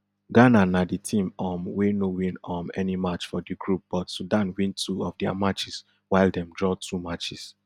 ghana na di team um wey no win um any match for di group but sudan win two of dia matches while dem draw two matches